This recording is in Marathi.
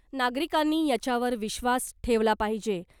नागरिकांनी याच्यावर विश्वास ठेवला पाहिजे .